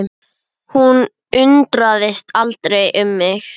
Hún undrast aldrei um mig.